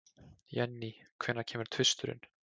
Jenny, hvenær kemur tvisturinn?